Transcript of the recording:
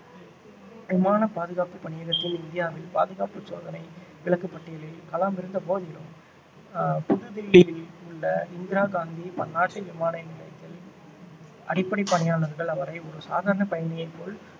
விமான பாதுகாப்புப் பணியகத்தின் இந்தியாவில் பாதுகாப்பு சோதனை விலக்கு பட்டியலில் கலாம் இருந்த போதிலும் ஆஹ் புது தில்லியில் உள்ள இந்திரா காந்தி பன்னாட்டு விமான நிலையத்தில் அடிப்படை பணியாளர்கள் அவரை ஒரு சாதாரண பயணியை போல்